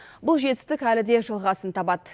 бұл жетістік әлі де жалғасын табады